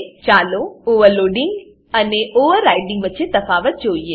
ચાલો overloading overloading અને overriding overriding વચ્ચે તફાવત જોઈએ